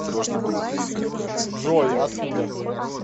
джой откуда